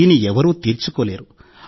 దీన్ని ఎవరూ తీర్చుకోలేరు